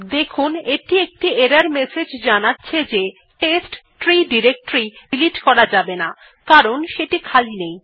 দেখুন এটি একটি এরর মেসেজ জানাচ্ছে যে টেস্ট্রি ডিরেক্টরী ডিলিট করা যাবে না কারণ সেটি খালি নেই